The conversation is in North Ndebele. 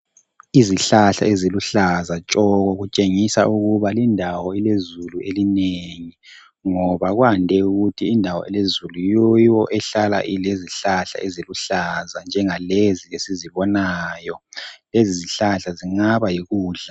Izihlahla eziluhlaza tshoko ,kutshengisa ukuba lindawo ilezulu elinengi. Ngoba kwande ukuthi indawo elezulu yiyo ehlala ilezihlahla eziluhlaza njengalezi esizibonayo. Lezi zihlahla zingaba yikudla.